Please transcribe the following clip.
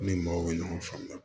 Ne ni maaw bɛ ɲɔgɔn faamuya